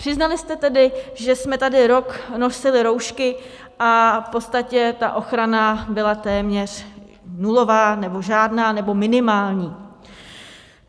Přiznali jste tedy, že jsme tady rok nosili roušky a v podstatě ta ochrana byla téměř nulová nebo žádná nebo minimální.